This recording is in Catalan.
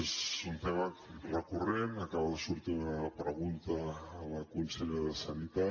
és un tema recurrent acaba de sortir en una pregunta a la consellera de sanitat